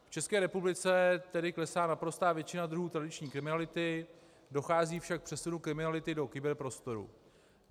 V České republice tedy klesá naprostá většina druhů tradiční kriminality, dochází však k přesunu kriminality do kyberprostoru.